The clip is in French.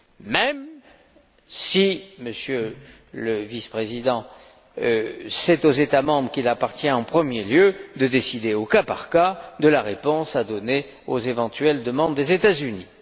même si, Monsieur le président en exercice du Conseil, c'est aux États membres qu'il appartient en premier lieu de décider au cas par cas de la réponse à donner aux éventuelles demandes des États Unis.